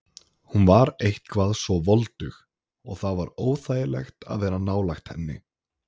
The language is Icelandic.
Hún var eitthvað svo voldug og það var óþægilegt að vera nálægt henni.